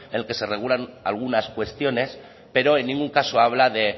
en el que se regulan algunas cuestiones pero en ningún caso habla de